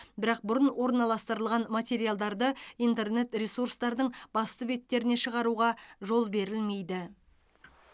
бірақ бұрын орналастырылған материалдарды интернет ресурстардың басты беттеріне шығаруға жол берілмейді